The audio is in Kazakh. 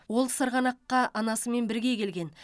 ол сырғанаққа анасымен бірге келген